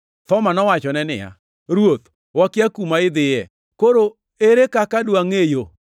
Thoma nowachone niya, “Ruoth wakia kuma idhiye, koro ere kaka dwangʼe yo?”